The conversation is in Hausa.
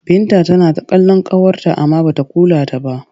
Binta tana kallon ƙawarta amma ba ta kula ta ba.